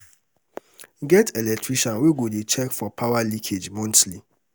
get electrician wey go dey check for power leakage monthly